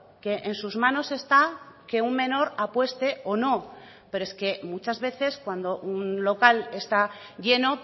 que en sus manos está que un menor apueste o no pero es que muchas veces cuando un local está lleno